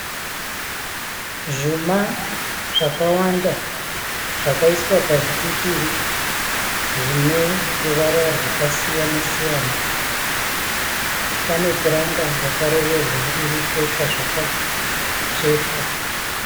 Zvuma zvakawanda zvakaiswa pazvipikiri zvineruvara rwakasiyana siyana . Pane puranga rakaroverwa riripo pazvakatsvetwa.